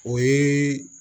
O ye